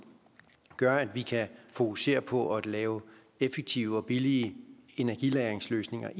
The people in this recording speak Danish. gør at vi kan fokusere på at lave effektive og billige energilagringsløsninger